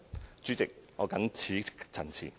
代理主席，我謹此陳辭。